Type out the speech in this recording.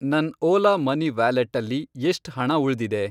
ನನ್ ಓಲಾ ಮನಿ ವ್ಯಾಲೆಟ್ಟಲ್ಲಿ ಎಷ್ಟ್ ಹಣ ಉಳ್ದಿದೆ?